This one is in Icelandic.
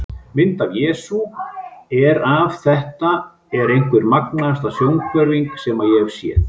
Mynd af Jesú er af Þetta er einhver magnaðasta sjónhverfing sem ég hef séð.